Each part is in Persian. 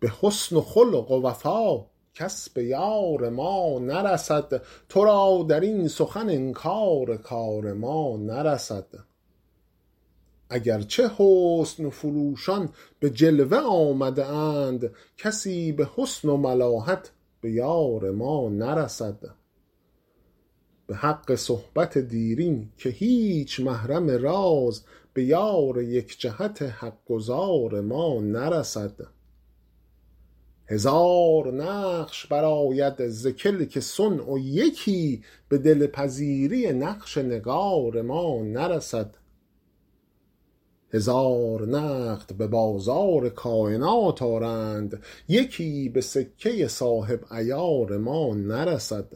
به حسن و خلق و وفا کس به یار ما نرسد تو را در این سخن انکار کار ما نرسد اگر چه حسن فروشان به جلوه آمده اند کسی به حسن و ملاحت به یار ما نرسد به حق صحبت دیرین که هیچ محرم راز به یار یک جهت حق گزار ما نرسد هزار نقش برآید ز کلک صنع و یکی به دل پذیری نقش نگار ما نرسد هزار نقد به بازار کاینات آرند یکی به سکه صاحب عیار ما نرسد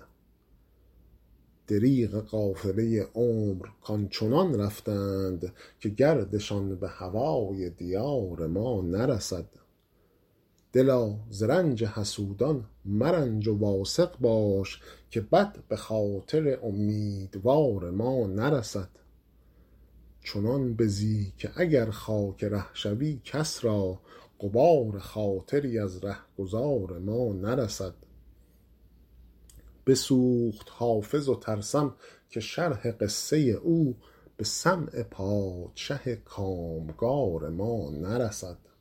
دریغ قافله عمر کآن چنان رفتند که گردشان به هوای دیار ما نرسد دلا ز رنج حسودان مرنج و واثق باش که بد به خاطر امیدوار ما نرسد چنان بزی که اگر خاک ره شوی کس را غبار خاطری از ره گذار ما نرسد بسوخت حافظ و ترسم که شرح قصه او به سمع پادشه کام گار ما نرسد